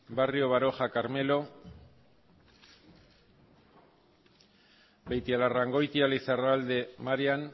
barrio baroja carmelo beitialarrangoitia lizarralde marian